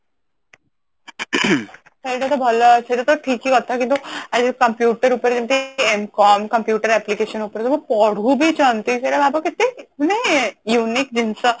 ସେଇଟା ତ ଭଲ ସେଇଟା ତ ଠିକ ହିଁ କଥା କିନ୍ତୁ ଆଜି computer ଉପରେ ଯେମତି ଅ computer application ଉପରେ ସବୁ ପଢୁବି ଛନ୍ତି ସେଟା ଭାବ କେତେ unique ଜିନିଷ